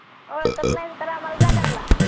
ओळखत नाही आम्हला तर जा घरला